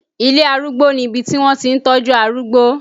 Ilé Arúgbó ni ibi tí wọ́n ti ń tọ́jú arúgbó